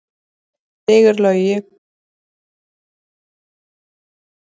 Sigurlogi, ég kom með tuttugu og eina húfur!